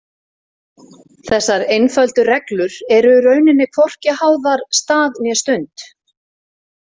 Þessar einföldu reglur eru í rauninni hvorki háðar stað né stund.